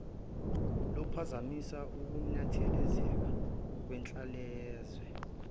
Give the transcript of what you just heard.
luphazamisa ukunethezeka kwenhlalayenza